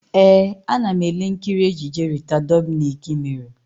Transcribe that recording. Ee, ana m ele nkiri ejije Rita Dominic mere.